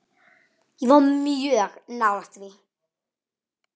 Ég var mjög nálægt því.